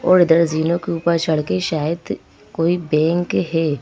और इधर जीनो के ऊपर चढ़ के शायद कोई बैंक है।